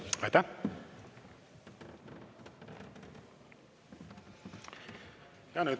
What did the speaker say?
Aitäh!